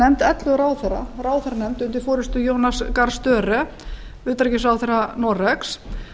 nefnd ellefu ráðherra ráðherranefnd undir forustu jonas gahr störe utanríkisráðherra noregs